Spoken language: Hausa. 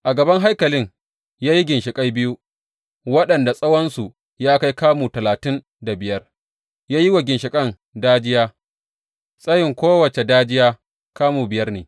A gaban haikalin ya yi ginshiƙai biyu, waɗanda tsawonsu ya kai kamu talatin da biyar, ya yi wa ginshiƙan dajiya, tsayin kowace dajiya kamu biyar ne.